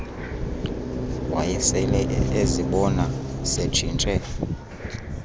wayesele ezibona setshintshe